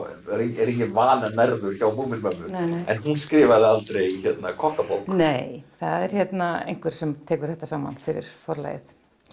er enginn vannærður hjá Múmínmömmu en hún skrifaði aldrei kokkabók nei það er einhver sem tekur þetta saman fyrir Forlagið